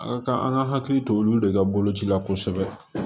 A ka kan an ka hakili to olu de ka bolocila kosɛbɛ